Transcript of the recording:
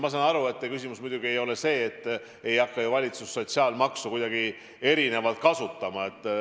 Ma saan aru, et muidugi te ei pidanud oma küsimusega silmas seda, et valitsus hakkab sotsiaalmaksu kuidagi plaanitust erinevalt kasutama.